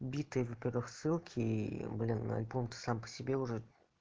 битые во-первых ссылки и блин альбом-то сам по себе уже